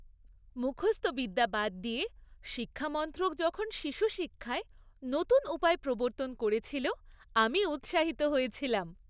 মুখস্থ বিদ্যা বাদ দিয়ে শিক্ষা মন্ত্রক যখন শিশু শিক্ষায় নতুন উপায় প্রবর্তন করেছিল, আমি উৎসাহিত হয়েছিলাম।